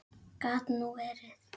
Gat nú verið